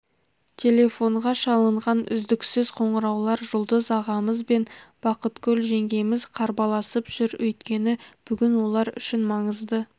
телефонға шалынған үздіксіз қоңыраулар жұлдыз ағамыз бен бақытгүл жеңгеміз қарбаласып жүр өйткені бүгін олар үшін маңызды